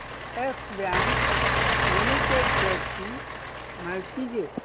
yes Bank Limited shares ची माहिती दे